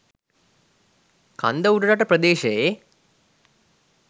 කන්ද උඩරට ප්‍රදේශයේ